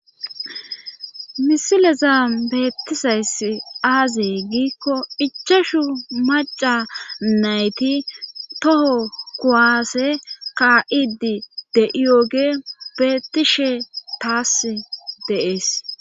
Misileza beettisays aazey giikko ichashu maca nayti toho kuwaase kaa'idi de'iyooge beettishe taas deees